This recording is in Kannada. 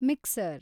ಮಿಕ್ಸರ್